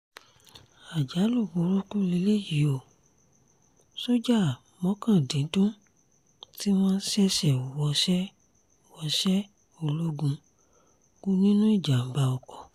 àjálù burúkú lélẹ́yìí ò sójà mọ́kàndíndún tí wọ́n ṣẹ̀ṣẹ̀ wọṣẹ́ wọṣẹ́ ológun kù nínú ìjàm̀bá oko